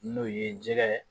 N'o ye jɛgɛ ye